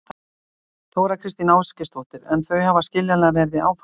Þóra Kristín Ásgeirsdóttir: En þau hafa skiljanlega verið í áfalli?